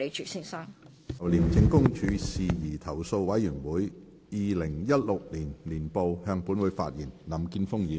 林健鋒議員就"廉政公署事宜投訴委員會二零一六年年報"向本會發言。